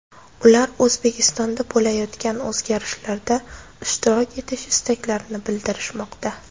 Ular O‘zbekistonda bo‘layotgan o‘zgarishlarda ishtirok etish istaklarini bildirishmoqda.